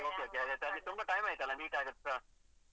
ತುಂಬಾ time ಆಯ್ತಲ್ಲ meet ಆಗದೆ ಸಹ?